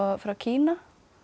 frá Kína